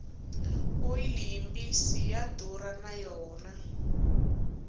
oyili yi mbisi ya durha na yona